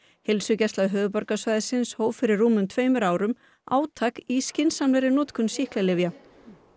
heilsugæsla höfuðborgarsvæðisins hóf fyrir rúmum tveimur árum átak í skynsamlegri notkun sýklalyfja